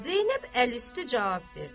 Zeynəb əl üstü cavab verdi.